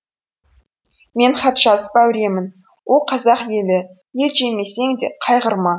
мен хат жазып әуремін о қазақ елі ет жемесең де қайғырма